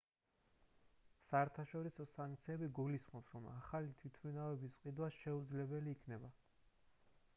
საერთაშორისო სანქციები გულისხმობს რომ ახალი თვითმფრინავების ყიდვა შეუძლებელი იქნება